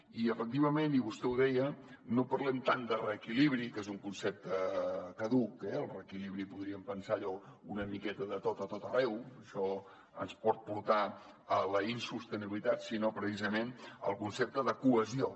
i efectivament i vostè ho deia no parlem tant de reequilibri que és un concepte caduc el reequilibri podríem pensar allò una miqueta de tot a tot arreu això ens pot portar a la insostenibilitat sinó precisament del concepte de cohesió